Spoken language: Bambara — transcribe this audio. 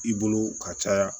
I bolo ka caya